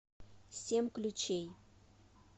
семь ключей